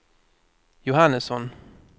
Johannesson